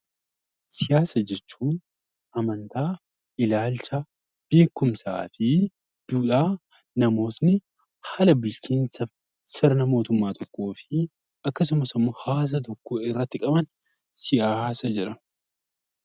Siyaasa jechuun amantaa, ilaalcha, beekumsaa fi duudhaa namootni haala bulchiinsa sirna mootummaa tokkoofi akkasumas immoo hawaasa tokko irratti qaban siyaasa jedhama.